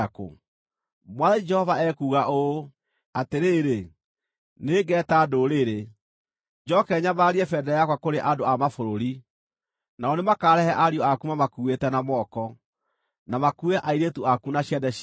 Mwathani Jehova ekuuga ũũ: “Atĩrĩrĩ, nĩngeeta ndũrĩrĩ, njooke nyambararie bendera yakwa kũrĩ andũ a mabũrũri; nao nĩmakarehe ariũ aku mamakuuĩte na moko, na makuue airĩtu aku na ciande ciao.